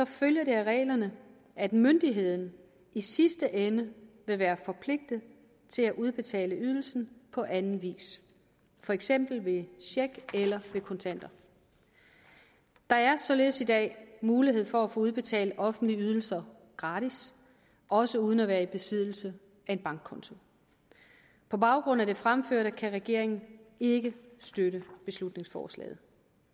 følger det af reglerne at myndigheden i sidste ende vil være forpligtet til at udbetale ydelsen på anden vis for eksempel ved check eller ved kontanter der er således i dag mulighed for at få udbetalt offentlige ydelser gratis også uden at være i besiddelse af en bankkonto på baggrund af det fremførte kan regeringen ikke støtte beslutningsforslaget